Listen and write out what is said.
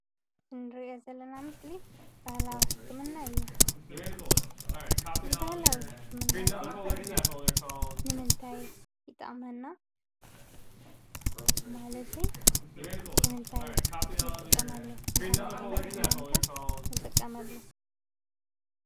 እንሪኦ ዘለና ምስሊ ባህላዊ ሕክምና እዩ። እዚ ባህላዊ ሕክምና እዚ ንምንታይ ይጠቕመና? ማለተይ ንምንታይ ንጥቀመሉ ንኸመይ ዓይነት ሕማም ከ ንጥቀመሉ?